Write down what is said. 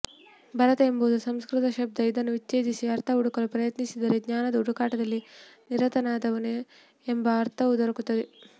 ಭರತ ಎಂಬುದು ಸಂಸ್ಕೃತ ಶಬ್ದ ಇದನ್ನು ವಿಚ್ಛೇದಿಸಿ ಅರ್ಥ ಹುಡುಕಲು ಪ್ರಯತ್ನಿಸಿದರೆ ಜ್ಞಾನದ ಹುಡುಕಾಟದಲ್ಲಿ ನಿರತನಾದವನು ಎಂಬ ಅರ್ಥವೂ ದೊರಕುತ್ತದೆ